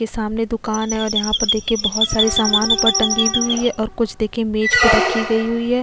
इ सामने दुकान है और यहाँ पर देखिये बहुत सारे सामान ऊपर टंगी भी हुई है और कुछ देखिये मेज पर रखी गयी हुई है।